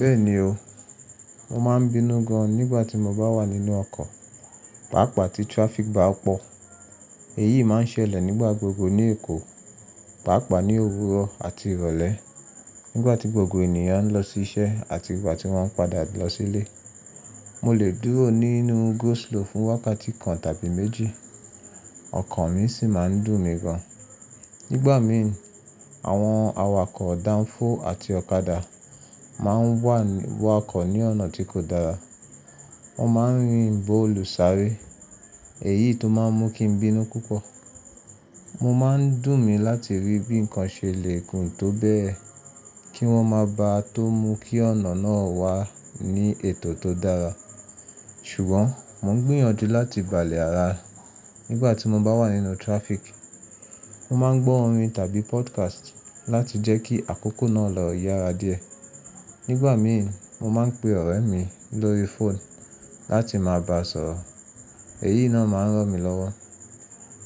Bẹ́ẹ̀ni o, mo máa n bínú gan nígbà tí mo bá wà nínú ọkọ̀, pàápàá tí traffic bá pọ̀. Èyí máa n ṣẹlẹ̀ nígbà gbogbo ní Èkó, pàápàá ní òwúrọ̀ àti ìrọ̀lẹ́ nígbà tí gbogbo ènìyàn ń lọ sí iṣẹ́ àti ìgbà tí wọ́n ń padà lọ sílé. Mo lè dúró nínú go slow fún wákàtí kan tàbí méjì, ọkọ̀ mi sì máa n dùn mí gan. Nígbà mi ì, àwọn awakọ̀ danfo àti ọ̀kadà máa n wakọ̀ ní ọ̀nà tí kò dára, wọ́n máa n rin bo olùsáré, èyí tó máa n mú kí n bínú púpọ̀. O má n dùn mí láti rí bí ǹkan ṣe lè kún tó bẹ́ẹ̀ kí wọ́n má ba tó mú kí ọ̀nà náà wà ní ètò tó dára. Ṣùgbọ́n mo n gbìyànjú láti gbà lè ara nígbà tí mo bá wà nínú traffic. Mo máa n gbọ́ orin tàbí podcast láti jẹ́ kí àkókò náà lọ yára díẹ̀. Nígbà mí ì mo máa n pe ọ̀rẹ́ mi lórí fóònù láti máa ba sọ̀rọ̀, èyí náà máa n rán mi lọ́wọ́.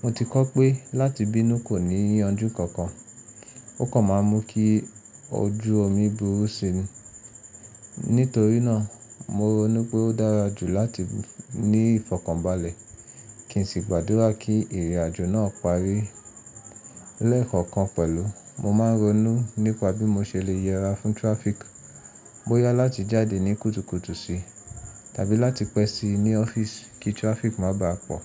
Mo ti kọ́ pé láti bínú kò ní ìyànjú kankan, ó kàn máa ń mú kí ojú omi burú sini. Nítorí náà mo ronú pé ó dára jù láti ní ìfọ̀kànbalẹ̀ kí n sì gbàdúrà kí ìrìnàjò náà parí lẹ́ẹ̀kan kan pẹ̀lú. Mo máa n ronú nípa bí mo ṣe lè yẹra fún traffic. Bo yá láti jáde ní kùtùkùtù si tàbí láti pẹ́ sí ní ọ́fíìsì kí traffic má bá a pọ̀.